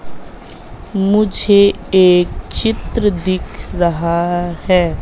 मुझे एक चित्र दिख रहा है।